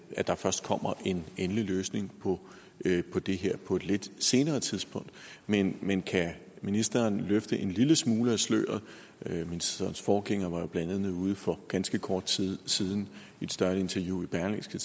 at der først kommer en en løsning på det det her på et lidt senere tidspunkt men men kan ministeren løfte en lille smule af sløret ministerens forgænger var jo blandt andet ude for ganske kort tid siden i et større interview i berlingske